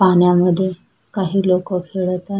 पाण्यामध्ये काही लोक खेळत आहे.